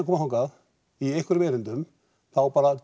koma þangað í einhverjum erindum þá bara